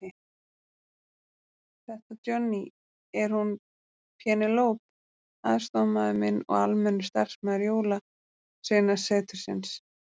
Þetta Johnny, er hún Penélope aðstoðarmaður minn og almennur starfsmaður Jólasveinasetursins.